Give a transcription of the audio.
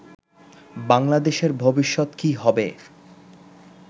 বাংলাদেশের ভবিষ্যৎ কী হবে